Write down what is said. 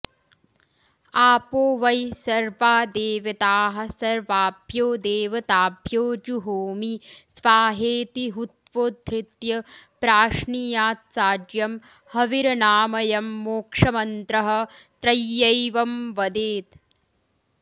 आपो वै सर्वा देवताः सर्वाभ्यो देवताभ्यो जुहोमि स्वाहेति हुत्वोधृत्य प्राश्नीयात्साज्यं हविरनामयं मोक्षमन्त्रः त्रय्यैवं वदेत्